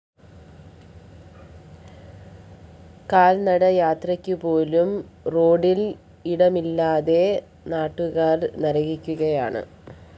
കാല്‍നട യാത്രയ്ക്കു പോലും റോഡില്‍ ഇടമില്ലാതെ നാട്ടുകാര്‍ നരകിക്കുകയാണ്